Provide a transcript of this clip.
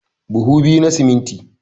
Buhu biyu na siminti